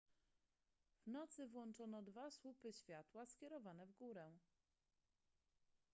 w nocy włączono dwa słupy światła skierowane w górę